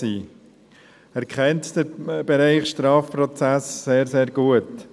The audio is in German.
Er kennt den Strafprozess-Bereich sehr, sehr gut.